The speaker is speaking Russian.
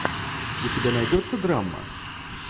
у тебя найдется драма